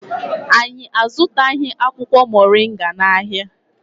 Anyị azụtaghị akwụkwọ Mọrịnga n'ahịa.